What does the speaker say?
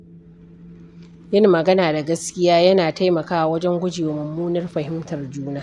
Yin magana da gaskiya yana taimakawa wajen gujewa mummunar fahimtar juna.